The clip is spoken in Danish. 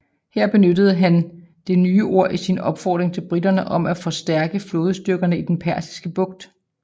Her benyttede han det nye ord i sin opfordring til briterne om at forstærke flådestyrkerne i den Persiske Bugt